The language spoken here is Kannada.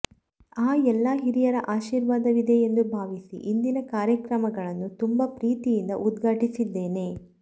ಆ ಎಲ್ಲ ಹಿರಿಯರ ಆಶೀರ್ವಾದವಿದೆ ಎಂದು ಭಾವಿಸಿ ಇಂದಿನ ಕಾರ್ಯಕ್ರಮಗಳನ್ನು ತುಂಬ ಪ್ರೀತಿಯಿಂದ ಉದ್ಘಾಟಿಸಿದ್ದೇನೆ